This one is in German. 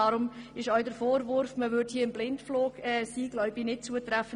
Deshalb ist der Vorwurf, man wäre hier im Blindflug unterwegs, nicht zutreffend.